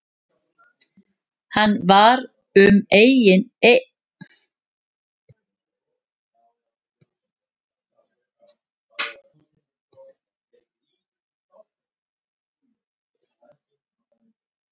Hann var um eign í fjölbýli